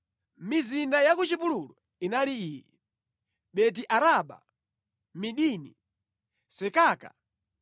Mizinda ya ku chipululu inali iyi: Beti-Araba, Midini, Sekaka,